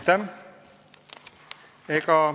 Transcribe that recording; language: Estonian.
Aitäh!